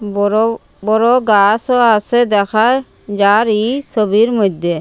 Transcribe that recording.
বড় বড় গাসও আসে দেখায় যার ই সোবির মইদ্যে।